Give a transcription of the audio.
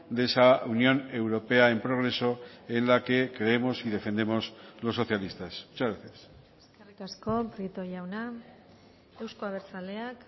de esa unión europea en progreso en la que creemos y defendemos los socialistas muchas gracias eskerrik asko prieto jauna euzko abertzaleak